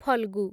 Phalgu